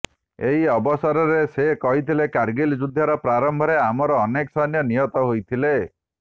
ଏହି ଅବସରରେ ସେ କହିଥିଲେ କାର୍ଗିଲ ଯୁଦ୍ଧର ପ୍ରାରମ୍ଭରେ ଆମର ଅନେକ ସୈନ୍ୟ ନିହତ ହୋଇଥିଲେ